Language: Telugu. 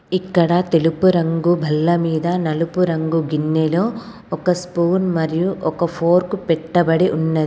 ఇక్కడ తెలుపు రంగు బల్ల మీద నలుపు రంగు గిన్నెలో ఒక స్పూన్ మరియు ఒక ఫోర్క్ పెట్టబడి ఉన్నది.